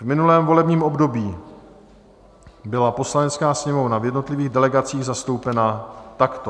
V minulém volebním období byla Poslanecká sněmovna v jednotlivých delegacích zastoupena takto: